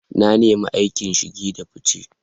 Na nemi aikin shige da fice.